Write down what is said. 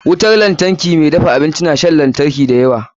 Wutar lantarki mai dafa abinci na shan lantari da yawa.